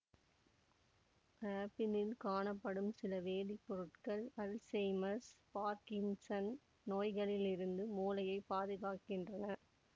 ஆப்பிளில் காணப்படும் சில வேதிப்பொருட்கள் அல்செய்மர்ஸ் பார்கின்சன் நோய்களிலிருந்து மூளையைப் பாதுகாக்கின்றன